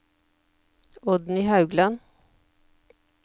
Oddny Haugland